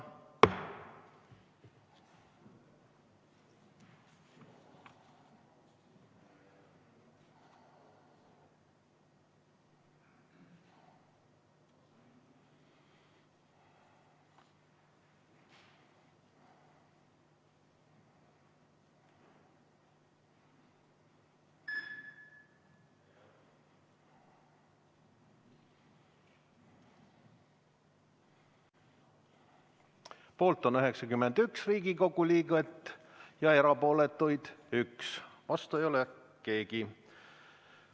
Poolt on 91 Riigikogu liiget ja erapooletuid 1, vastu ei ole keegi.